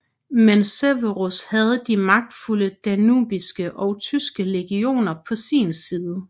Men Severus havde de magtfulde danubiske og tyske legioner på sin side